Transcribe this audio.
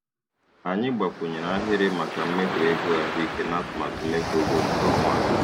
Anyị gbakwunyere ahịrị maka mmefu ego ahụike natụmatụ mmefu ego nke ọnwa a.